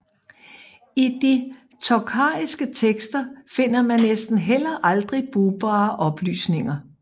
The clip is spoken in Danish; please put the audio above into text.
I de tokhariske tekster finder man næsten heller aldrig brugbare oplysninger